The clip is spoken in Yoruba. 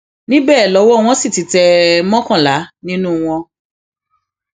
níbẹ lọwọ wọn sì ti tẹ mọkànlá nínú wọn